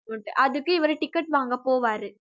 அதுக்கு இவரு ticket வாங்க போவாரு